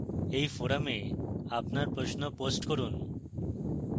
এই forum আপনার প্রশ্ন post করুন